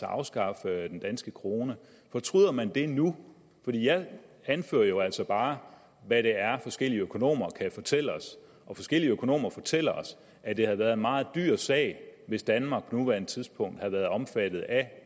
at afskaffe den danske krone fortryder man det nu for jeg anfører jo altså bare hvad det er forskellige økonomer kan fortælle os og forskellige økonomer fortæller os at det havde været en meget dyr sag hvis danmark på nuværende tidspunkt havde været omfattet af